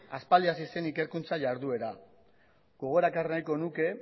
aspaldi hasi zen ikerkuntza iharduera gogora ekarri nahiko nuke